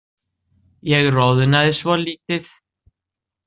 Ég roðnaði svolítið.